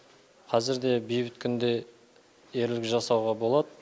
қазір де бейбіт күнде ерлік жасауға болады